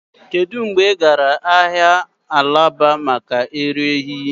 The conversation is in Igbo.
Kedu mgbe ị gara ahịa alaba maka èrírí?